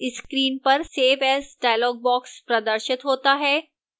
screen पर save as dialog box प्रदर्शित होता है